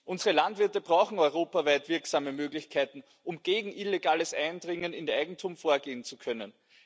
Unsere Landwirte brauchen europaweit wirksame Möglichkeiten, um gegen illegales Eindringen in ihr Eigentum vorgehen zu können.